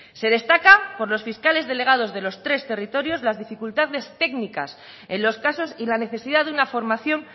se destaca por los fiscales delegados de los tres territorios las dificultades técnicas en los casos y la necesidad de una formación